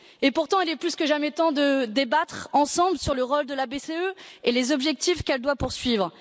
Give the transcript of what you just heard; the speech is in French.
Pourtant, il est plus que jamais temps de débattre ensemble sur le rôle de la BCE et les objectifs qu'elle doit poursuivre.